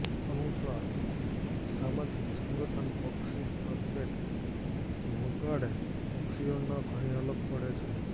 અનુસાર સામાજિક સંગઠન પક્ષી ટ્રમ્પેટ વગાડે પક્ષીઓમાં ઘણી અલગ પડે છે